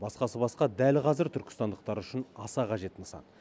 басқасы басқа дәл қазір түркістандықтар үшін аса қажет нысан